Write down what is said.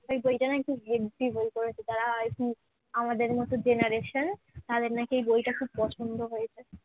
বইটা নাকি heavy বই করেছে যারা i think আমাদের মত generation তাদের নাকি এই বইটা খুব পছন্দ হয়েছে।